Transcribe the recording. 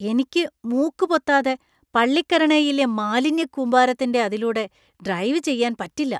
എനിക്ക് മൂക്ക് പൊത്താതെ പള്ളിക്കരണൈയിലെ മാലിന്യക്കൂമ്പാരത്തിന്‍റെ അതിലൂടെ ഡ്രൈവ് ചെയ്യാൻ പറ്റില്ല .